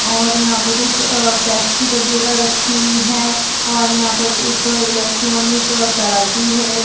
और यहाँ पर कुछ अ पेप्सी वगेरा रखी हुई है और यहाँ पर एक अ इलेक्ट्रॉनिक अ तराजू है।